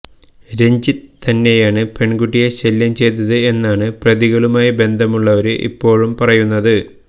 രഞ്ജിത്ത് തന്നെയാണ് പെണ്കുട്ടിയെ ശല്യം ചെയ്തത് എന്നാണ് പ്രതികളുമായി ബന്ധമുള്ളവര് ഇപ്പോള് പറയുന്നത്